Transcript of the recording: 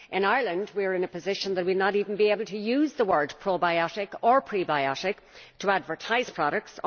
In Ireland we are in a position that we are not even able to use the words probiotic or prebiotic to advertise products.